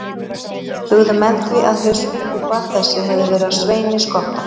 Hugðu menn því að hauskúpa þessi hefði verið af Sveini skotta.